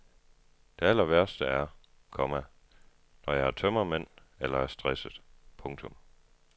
Det allerværste er, komma når jeg har tømmermænd eller er stresset. punktum